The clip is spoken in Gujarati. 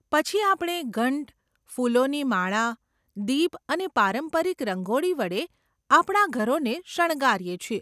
પછી આપણે ઘંટ, ફૂલોની માળા, દીપ અને પારંપરિક રંગોળી વડે આપણા ઘરોને શણગારીએ છીએ.